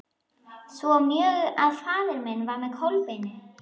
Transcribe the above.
Svo mjög að faðir minn var með Kolbeini og